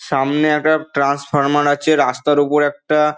সামনে একটা ট্রান্সফার্মার আছে রাস্তার ওপর একটা--